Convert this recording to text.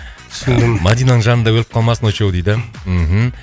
түсіндім мадинаның жанында өліп қалмасын очоу дейді мхм